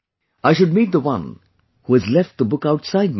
I should meet the one who has left the book outside my home